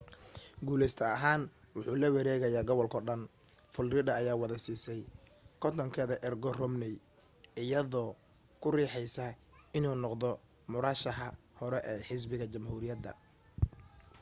guuleyste ahaan wuxuu lawareegaayaa gobalkoo dhan florida ayaa wada siisay kontonkeeda ergo romney iyadoo ku riixaysa inuu noqdo murashaxa hore ee xisbiga jamhuuriga